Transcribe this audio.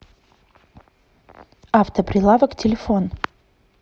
автоприлавок телефон